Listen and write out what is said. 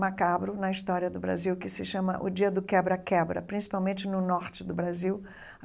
macabro na história do Brasil, que se chama o dia do quebra-quebra, principalmente no norte do Brasil.